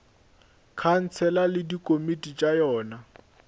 khansele le dikomiti tša yona